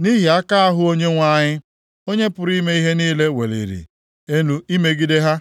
nʼihi aka ahụ Onyenwe anyị, Onye pụrụ ime ihe niile weliri elu imegide ha.